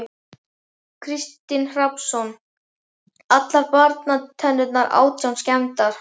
Kristinn Hrafnsson: Allar barnatennurnar átján skemmdar?